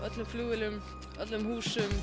öllum flugvélum á öllum húsum